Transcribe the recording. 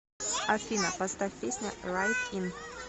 афина поставь песня райт ин